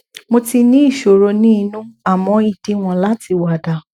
mo ti ní ìṣòro ní inú àmọ ìdíwọn láti wà dà